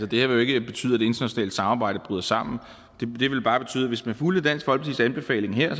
det her vil ikke betyde at det internationale samarbejde bryder sammen hvis man fulgte dansk folkepartis anbefaling her